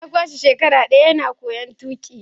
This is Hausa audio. Ya kwashe shekara daya yana koyon tuki.